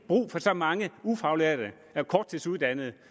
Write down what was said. brug for så mange ufaglærte og korttidsuddannede